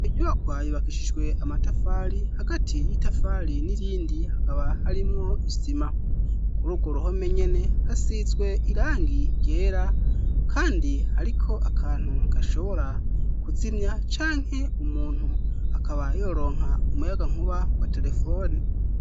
Binyuba kwayo bakishishwe amatafali hagati y'itafali n'irindi hakaba harimwo isima kurugwu ruhome nyene hasizwe irangi rera, kandi, ariko akantu kashobora kuzimya canke umuntu akaba yoronka umuyaga nkuba wa telefoni.